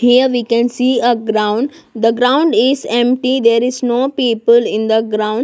here we can see a ground the ground is empty there is no people in the ground.